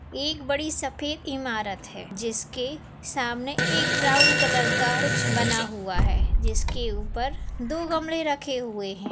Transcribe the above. एक बड़ी सफ़ेद इमारत है जिसके सामने एक ब्राउन कलर का कुछ बना हुआ है जिसके ऊपर दो गमले रखे हुए है।